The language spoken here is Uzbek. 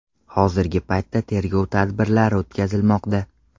Hozirgi paytda tergov tadbirlari o‘tkazilmoqda.